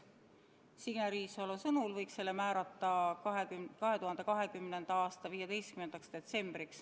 Signe Riisalo sõnul võiks selleks määrata 2020. aasta 15. detsembri.